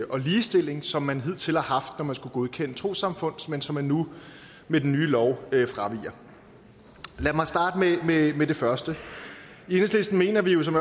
og ligestilling som man hidtil har haft når man skulle godkende trossamfund men som man nu med den nye lov fraviger lad mig starte med med det første i enhedslisten mener vi som